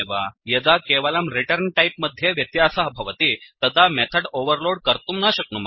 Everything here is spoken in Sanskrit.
यदा केवलं रिटर्न् टैप् मध्ये व्यत्यासः भवति तदा मेथड् ओवर्लोड् कर्तुं न शक्नुमः